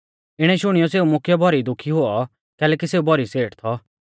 इणै शुणियौ सेऊ मुख्यौ भौरी दुखी हुऔ कैलैकि सेऊ भौरी सेठ थौ